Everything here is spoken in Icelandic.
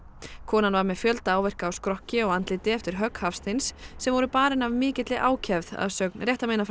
konan var með fjölda áverka á skrokki og andliti eftir högg Hafsteins sem voru barin af mikilli ákefð að sögn